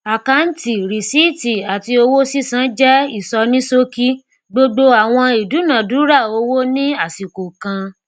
akáǹtì rìsíìtì àti owó sísan jẹ ìsọníṣókí gbogbo àwọn ìdúnàándúrà owó ní àsìkò kan